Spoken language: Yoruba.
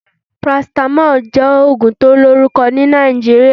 Parasitamoli jẹ́ ògùn tí ó lórùkọ ni Nàìjíríà